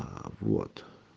аа вот